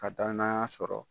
Ka danaya sɔrɔ.